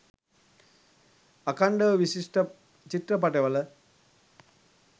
අඛන්ඩව විශිෂ්ට චිත්‍රපටිවල